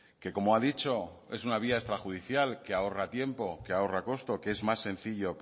que como ha dicho es una vía extrajudicial que ahorra tiempo que ahorra costo que es más sencillo